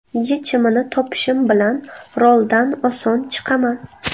Yechimini topishim bilan roldan oson chiqaman.